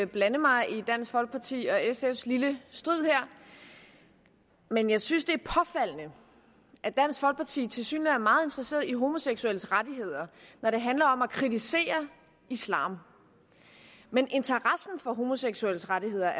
blande mig i dansk folkeparti og sfs lille strid her men jeg synes det er påfaldende at dansk folkeparti tilsyneladende er meget interesseret i homoseksuelles rettigheder når det handler om at kritisere islam mens interessen for homoseksuelles rettigheder